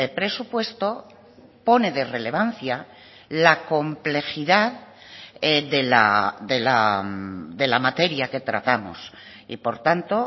presupuesto pone de relevancia la complejidad de la materia que tratamos y por tanto